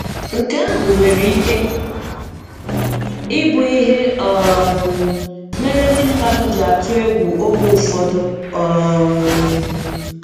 Nke ahụ nwere ike ị bụ ihe um mere ndị mmadụ ji atụ egwu oge ụfọdụ. um